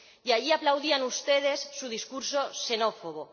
Y allí aplaudían ustedes su discurso xenófobo.